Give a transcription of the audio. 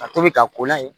Ka tobi ka ko layi